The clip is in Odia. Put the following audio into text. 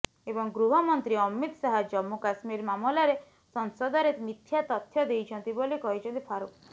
ଏବଂ ଗୃହମନ୍ତ୍ରୀ ଅମିତ୍ ଶାହା ଜମ୍ମୁ କାଶ୍ମୀର ମାମଲାରେ ସଂସଦରେ ମିଥ୍ୟା ତଥ୍ୟ ଦେଇଛନ୍ତି ବୋଲି କହିଛନ୍ତି ଫାରୁକ୍